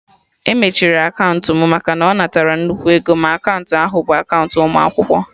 E mechiri akaụntụ mụ maka na ọ natara nnukwu ego, ma akaụntụ ahụ bụ akaụntụ ụmụ akwụkwọ